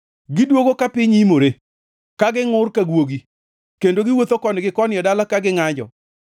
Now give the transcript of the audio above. Gidwogo ka piny imore, ka gingʼur ka guogi, kendo giwuotho koni gi koni e dala ka gingʼanjo.